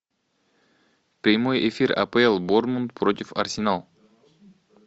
прямой эфир апл борнмут против арсенал